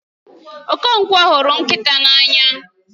Okonkwo huru nkita n'anya